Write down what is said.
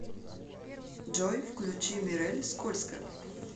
джой включи мирэль скользко